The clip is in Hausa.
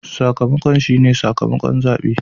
Sakamakon shi ne sakamakon zabe.